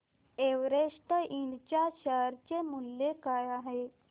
Everest Ind च्या share चे मूल्य काय आहे